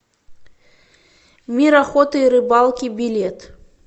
мир охоты и рыбалки билет